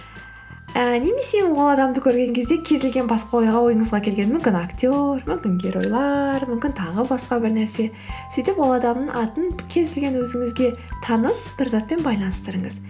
ы немесе ол адамды көрген кезде кез келген басқа ойыңызға келген мүмкін актер мүмкін геройлар мүмкін тағы басқа бір нәрсе сөйтіп ол адамның атын кез келген өзіңізге таныс бір затпен байланыстырыңыз